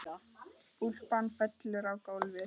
Úlpan fellur á gólfið.